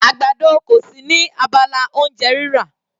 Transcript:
Àgbàdo kò sí ní abala oúnjẹ rírà.